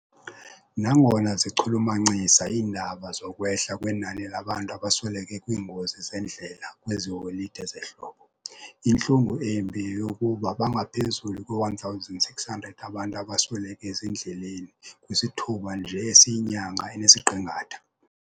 Nangona zichulumancisa iindaba zokwehla kwenani labantu abasweleke kwiingozi zendlela kwezi holide zehlobo, intlungu embi yeyokuba bangaphezu kwe-1,600 abantu abasweleke ezindleleni kwisithuba nje esiyinyanga enesiqingatha.